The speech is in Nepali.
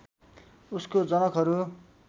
उसको जनकहरू